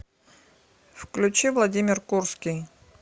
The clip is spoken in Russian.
включи владимир курский